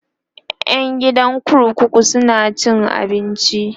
ƴan gidan kurkuku suna cin abinci